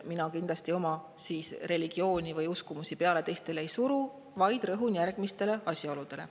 Mina kindlasti oma religiooni või uskumusi teistele peale ei suru, vaid rõhun järgmistele asjaoludele.